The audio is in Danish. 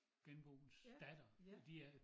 Genboens datter men de er